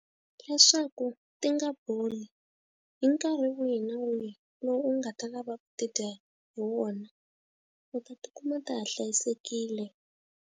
Leswaku ti nga boli hi nkarhi wihi na wihi lowu u nga ta lava ku tidya hi wona u ta ti kuma ta ha hlayisekile.